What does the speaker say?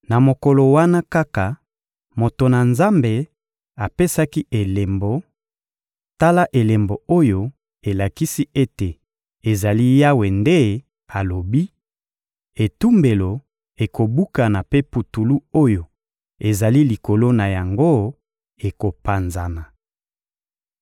Na mokolo wana kaka, moto na Nzambe apesaki elembo: — Tala elembo oyo elakisi ete ezali Yawe nde alobi: Etumbelo ekobukana mpe putulu oyo ezali likolo na yango ekopanzana.